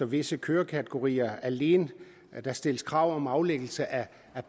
visse kørekategorier alene stilles krav om aflæggelse af